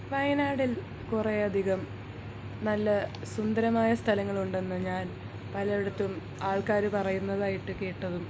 വായനാടിൽ കുറെയധികം നല്ല സുന്ദരമായ സ്ഥലങ്ങൾ ഉണ്ടെന്ന് ഞാൻ പലയിടത്തും ആൾക്കാരൂ പറയുന്നതായിട്ട് കേട്ടുതു